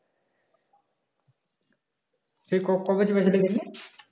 সে ক~ কবে চেপেছিলি বললি